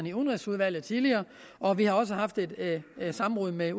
i udenrigsudvalget tidligere og vi har også haft et samråd med